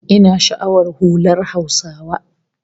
Ina sha'awar hular Hausawa